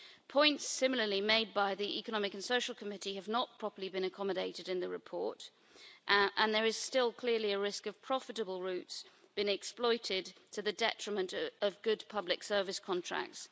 Points similarly made by the European Economic and Social Committee have not been properly accommodated in the report and there is still clearly a risk of profitable routes been exploited to the detriment of good public service contracts.